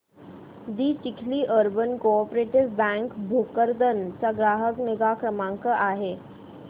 दि Chikhli urban cooperative bank Bhokardan चा ग्राहक निगा क्रमांक काय आहे